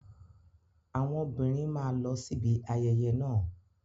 Àwọn obìnrin máa lọ síbi ayẹyẹ náà.